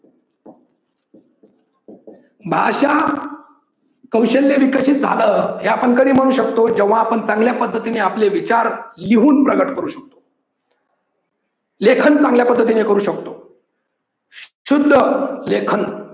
भाषा कौशल्य विकसित झालं हे आपण कधी म्हणू शकतो, जेव्हा आपण चांगल्या पद्धतीने आपले विचार लिहून प्रकट करू शकतो. लेखन चांगल्या पद्धतीने करू शकतो. शुद्ध लेखन